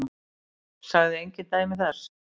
Sagði engin dæmi þess.